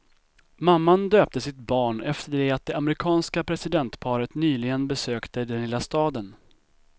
Mamman döpte sitt barn efter det att det amerikanska presidentparet nyligen besökte den lilla staden.